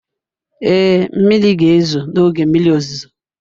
Ee, mmiri ga-ezo n'oge mmiri ozuzo.